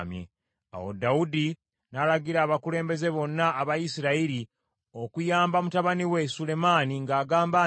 Awo Dawudi n’alagira abakulembeze bonna aba Isirayiri okuyamba mutabani we Sulemaani ng’agamba nti,